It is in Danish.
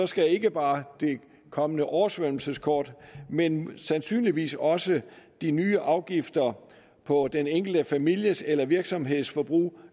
skal ikke bare det kommende oversvømmelseskort men sandsynligvis også de nye afgifter på den enkelte families eller virksomheds forbrug